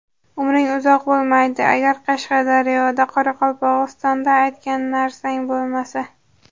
Umring uzoq bo‘lmaydi agar Qashqadaryoda Qoraqalpog‘istonda aytgan narsang bo‘lmasa.